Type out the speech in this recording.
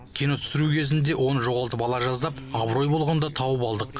кино түсіру кезінде оны жоғалтып ала жаздап абырой болғанда тауып алдық